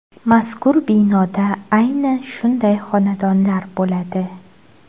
Mazkur binoda ayni shunday xonadonlar bo‘ladi.